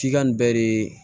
F'i ka nin bɛɛ de